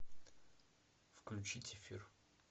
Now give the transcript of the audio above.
включить эфир